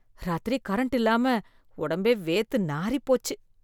இராத்திரி கரண்ட் இல்லாம உடம்பே வேர்த்து நாறிப்போச்சு.